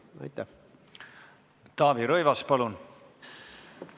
Taavi Rõivas, palun!